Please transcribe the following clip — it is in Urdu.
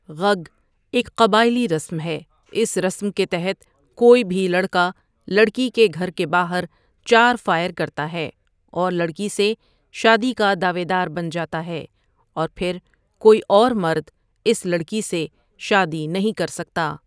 غگ ایک قبائلی رسم ہے اس رسم کے تحت کوئی بھی لڑکا لڑکی کے گھر کے باہر چار فائر کرتا ہے اور لڑکی سے شادی کا دعویدار بن جاتا ہے اور پھر کوئی اور مرد اس لڑکی سے شادی نہیں کرسکتا ۔